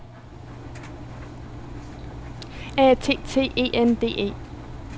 A T T E N D E